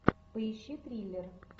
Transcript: поищи триллер